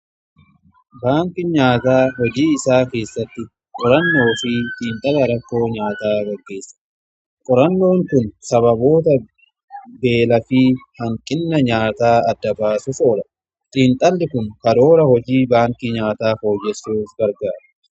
baankin nyaataa hojii isaa keessatti qorannoo fi xiinxala rakkoo nyaataa qaggeessa. qorannoon kun sababoota beelaa fi hanqina nyaataa adda baasuf oola xiinxalli kun karoora hojii baanki nyaataa fooyyessuuf gargara.